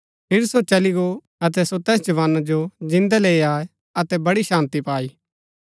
अतै सो तैस जवाना जो जिन्दै लैई आये अतै बड़ी शान्ती पाई